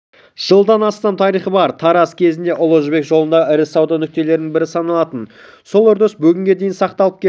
жылдан астам тарихы бар тараз кезінде ұлы жібек жолындағы ірі сауда нүктелерінің бірі саналатын сол үрдіс бүгінге дейін сақталып келді